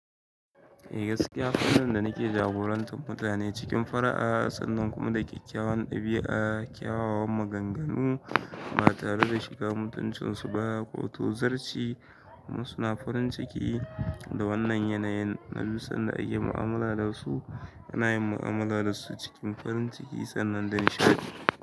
Eh gaskiya, wannan da nake jagorantar mutane cikin fara'a, tsanan kuma da kyakkyawan ɗabi'a, kyawawan maganganu ba tare da shiga mutuncinsu ba, ko to zarci. Kuma suna farin ciki da wannan yanayin na bi sanda ake mu'amala da su, ana yin mu'amala da su cikin farin ciki sannan da nishaɗi.